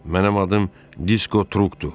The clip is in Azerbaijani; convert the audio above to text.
Mənim adım Disko Trupdur.